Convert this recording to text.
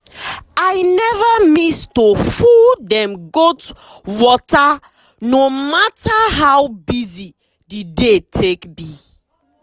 i never miss to full dem goat waterno matter how busy the day take be.